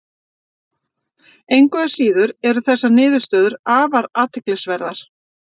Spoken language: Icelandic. Engu að síður eru þessar niðurstöður afar athyglisverðar.